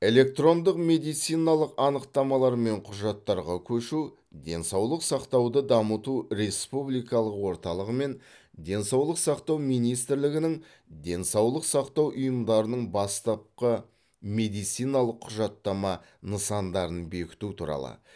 электрондық медициналық анықтамалар мен құжаттарға көшу денсаулық сақтауды дамыту республикалық орталығы мен денсаулық сақтау министрлігінің денсаулық сақтау ұйымдарының бастапқы медициналық құжаттама нысандарын бекіту туралы